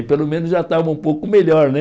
Pelo menos, já estava um pouco melhor.